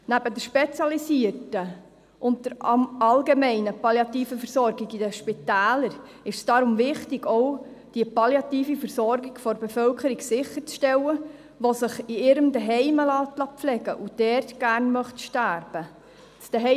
Es ist deshalb wichtig, neben der spezialisierten und der allgemeinen palliativen Versorgung in den Spitälern, auch die palliative Versorgung der Bevölkerung sicherzustellen, die sich in ihrem Daheim pflegen lässt und gerne dort sterben möchte.